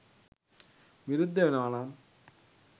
විරුද්ධ වෙනවනම්.